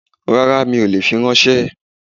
Rárá mi ò lè fi ránsẹ́